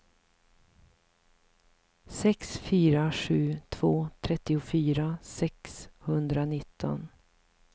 sex fyra sju två trettiofyra sexhundranitton